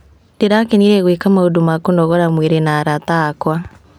Ndĩrakenire gwĩka maũndũ ma kũnogora mwĩrĩ na arata akwa.